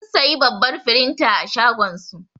Sun sayi babbar firinta a shagon su